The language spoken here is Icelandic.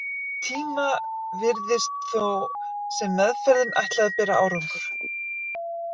Um tíma virtist þó sem meðferðin ætlaði að bera árangur.